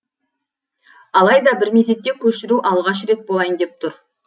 алайда бір мезетте көшіру алғаш рет болайын деп тұр